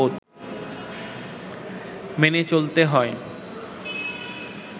মেনে চলতে হয়